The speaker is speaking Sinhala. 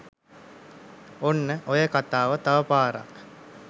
ඔන්න ඔය කතාව තවපාරක්